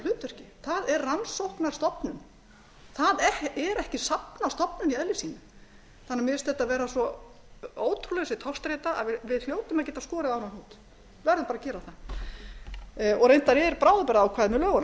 hlutverki það er rannsóknastofnun það er ekki safnastofnun í eðli sínu mér finnst þetta vera svo ótrúleg þessi togstreita að við hljótum að geta skorið á þennan hnút við verðum að gera það reyndar er bráðabirgðaákvæði með